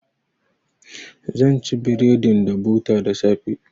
Zan ci bredin da bota da safe.